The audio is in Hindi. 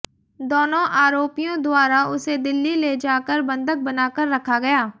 दोनों आरोपियों द्वारा उसे दिल्ली ले जाकर बंधक बनाकर रखा गया